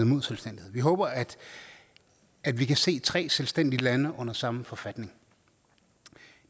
imod selvstændighed vi håber at at vi kan se tre selvstændige lande under samme forfatning